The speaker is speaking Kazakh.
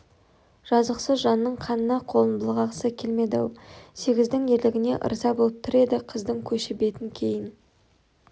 жазықсыз жанның қанына қолын былғағысы келмеді-ау сегіздің ерлігіне ырза болып тұр еді қыздың көші бетін кейін